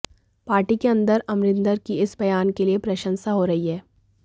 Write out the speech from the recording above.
party के अंदर अमरिंदर की इस बयान के लिए प्रशंसा हो रही है